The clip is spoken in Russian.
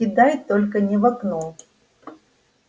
кидай только не в окно